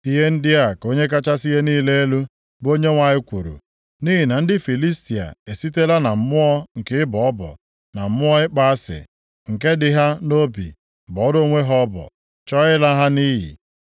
“Ihe ndị a ka Onye kachasị ihe niile elu, bụ Onyenwe anyị kwuru: ‘Nʼihi na ndị Filistia esitela na mmụọ nke ịbọ ọbọ, na mmụọ ịkpọ asị nke dị ha nʼobi bọọrọ onwe ha ọbọ, chọọ ịla ha nʼiyi.